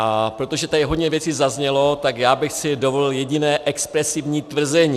A protože tady hodně věcí zaznělo, tak já bych si dovolil jediné expresivní tvrzení.